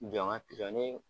Jɔ n ka pizɔnin.